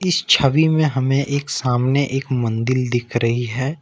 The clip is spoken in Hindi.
इस छवि में हमें एक सामने एक मन्दिल दिख रही है।